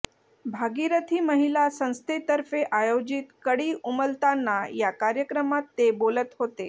भागिरथी महिला संस्थेतर्फे आयोजित कळी उमलताना या कार्यक्रमात ते बोलत होते